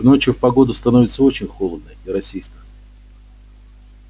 к ночи в погоду становится очень холодно и росисто